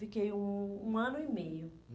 Fiquei um um ano e meio.